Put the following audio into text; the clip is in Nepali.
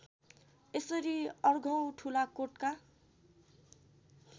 यसरी अर्घौं ठुलाकोटका